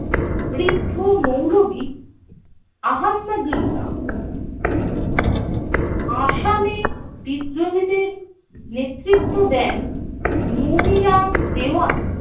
বৃদ্ধ মৌলবি আহাম্মদুল্লাহ। আসামে বিদ্রোহীদের নেতৃত্ব দেন মনিরাম দেওয়ান।